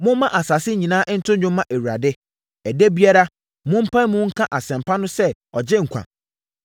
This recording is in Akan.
Momma asase nyinaa nto dwom mma Awurade! Ɛda biara mompae mu nka asɛmpa no sɛ ɔgye nkwa.